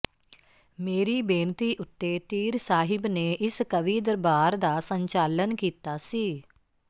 ਮੇਰੀ ਬੇਨਤੀ ਉੱਤੇ ਤੀਰ ਸਾਹਿਬ ਨੇ ਇਸ ਕਵੀ ਦਰਬਾਰ ਦਾ ਸੰਚਾਲਨ ਕੀਤਾ ਸੀ